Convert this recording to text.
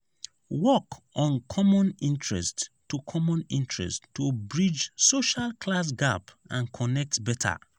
work on common interests to common interests to bridge social class gap and connect better.